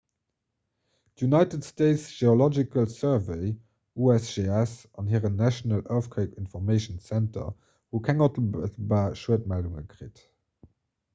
d'united states geological survey usgs an hiren national earthquake information center hu keng onmëttelbar schuedmeldunge kritt